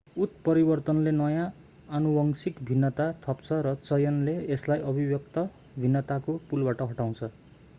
उत्परिवर्तनले नयाँ आनुवंशिक भिन्नता थप्छ र चयनले यसलाई अभिव्यक्त भिन्नताको पुलबाट हटाउँछ